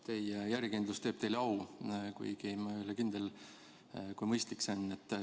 Teie järjekindlus teeb teile au, kuigi ma ei ole kindel, kui mõistlik see on.